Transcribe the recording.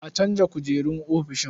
A canza kujerun ofishin.